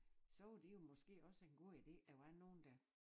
Så var det jo måske også en god idé der var nogen der